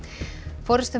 forystumenn